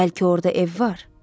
Bəlkə orda ev var?